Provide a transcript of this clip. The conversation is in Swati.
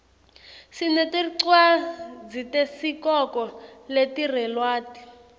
sinetircwadzitesikoko letirelwati